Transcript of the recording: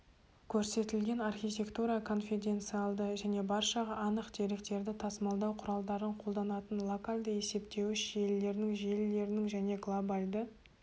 көрсетілген архитектура конфеденциалды және баршаға анық деректерді тасымалдау құралдарын қолданатын локальді есептеуіш желілерінің желілерінің және глобальды